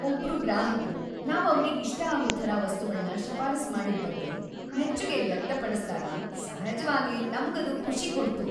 ಒಬ್ರು ಗ್ರಾಹಕ್ರು ನಾವ್ ಅವ್ರಿಗ್‌ ಇಷ್ಟ ಆಗೋ ಥರ ವಸ್ತುಗಳ್ನ ಶಿಫಾರ್ಸ್ ಮಾಡಿದ್ ಬಗ್ಗೆ ಮೆಚ್ಚುಗೆ ವ್ಯಕ್ತಪಡಿಸ್ದಾಗ ಸಹಜ್ವಾಗೇ ನಮ್ಗದು ಖುಷಿ ಕೊಡ್ತು.